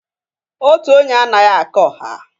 Otu onye anaghị aka ọha.